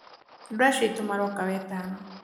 andũ acio aitũ maroka wetano